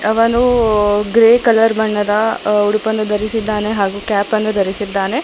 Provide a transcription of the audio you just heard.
ಅವನು grey colour ಬಣ್ಣದ ಉಡುಪನ್ನು ಧರಿಸಿದ್ದಾನೆ ಹಾಗು ಕ್ಯಾಪನ್ನು ಧರಿಸಿದ್ದಾನೆ.